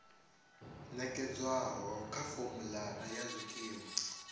nekedzwaho kha formulary ya zwikimu